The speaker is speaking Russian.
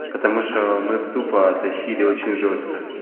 потому что мы тупо тащили очень жёстко